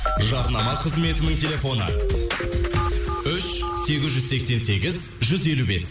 жарнама қызметінің телефоны үш сегіз жүз сексен сегіз жүз елу бес